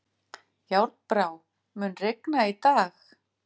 Járnbrá, mun rigna í dag?